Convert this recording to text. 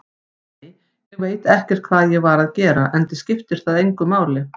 Nei, ég veit ekkert hvað ég var að gera, enda skiptir það engu máli.